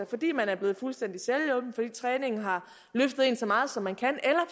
fordi man er blevet fuldstændig selvhjulpen fordi træningen har løftet en så meget som man kan